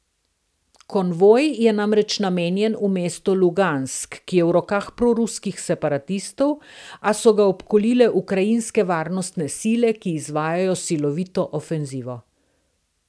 Konvoj je namreč namenjen v mesto Lugansk, ki je v rokah proruskih separatistov, a so ga obkolile ukrajinske varnostne sile, ki izvajajo silovito ofenzivo.